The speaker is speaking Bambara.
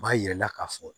U b'a yir'i la ka fɔ